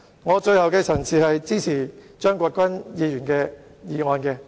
我謹此陳辭，支持張國鈞議員的議案。